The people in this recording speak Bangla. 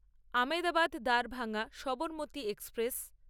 আমেদাবাদ দারভাঙ্গা সবরমতি এক্সপ্রেস